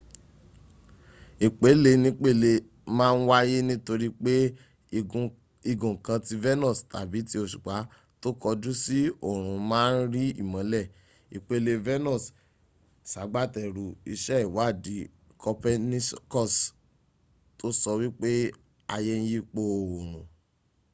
ìpelenípele ma ń wáyé nítorí pé igun kan ti venus tàbí ti òṣùpá tó kọjú sí òòrùn ma ń rí ìmọ́lẹ̀. ìpele venus sagbátẹrù iṣẹ́ ìwádìí copernicus tó sọ wípé ayé ń yípo òòrùn